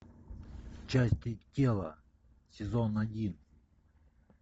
части тела сезон один